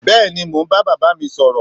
bẹẹni mọ ń ba bàbá mí sọrọ